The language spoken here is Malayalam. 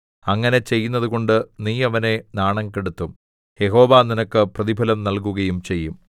അങ്ങനെ ചെയ്യുന്നതുകൊണ്ട് നീ അവനെ നാണം കെടുത്തും യഹോവ നിനക്ക് പ്രതിഫലം നല്കുകയും ചെയ്യും